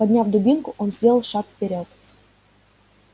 подняв дубинку он сделал шаг вперёд